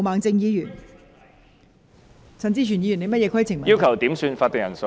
代理主席，我要求點算法定人數。